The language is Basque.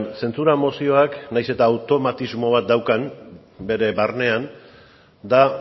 zentzura mozioak nahiz eta automatismo bat daukan bere barnean da